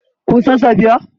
Kun san Safiya?